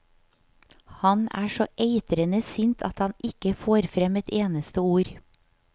Han er så eitrende sint at han ikke får frem et eneste ord.